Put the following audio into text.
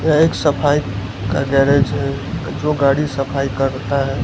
यह एक सफाई का गैरेज है जो गाड़ी सफाई करता है।